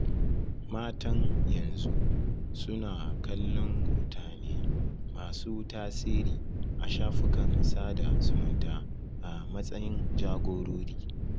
Matan yanzu suna kallon mutane masu tasiri a shafukan sada zumunta a matsayin jagorori